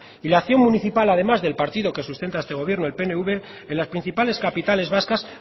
y la acción municipal además del partido que sustenta este gobierno el pnv en las principales capitales vascas